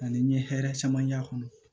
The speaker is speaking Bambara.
Ani n ye hɛrɛ caman y'a kɔnɔ